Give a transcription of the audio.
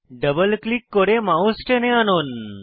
double click করে mouse টেনে আনুন